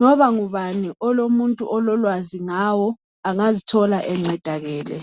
Loba ngubani olomuntu ololwazi ngawo angazithola encedakele.